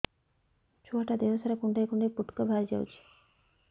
ଛୁଆ ଟା ଦେହ ସାରା କୁଣ୍ଡାଇ କୁଣ୍ଡାଇ ପୁଟୁକା ବାହାରି ଯାଉଛି